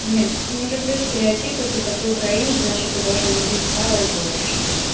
блин не люблю стереотипы типа ты украинец значит ты должен любить сало и борщ